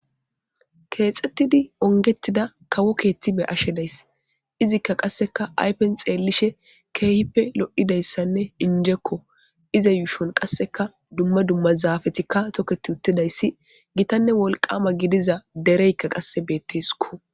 Keexxettidi ongetida kawo keetti be ashe dayss izikka qasseka ayfen xeellishe keehippe lo7idayssanne injekko iza yuushon qasseka dumma dumma zaafetikka toketi uttidayssi gitanne wolqama gidiza dereykka qasse beetteskko.